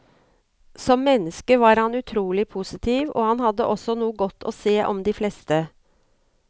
Som menneske var han utrolig positiv og han hadde noe godt å se om de fleste.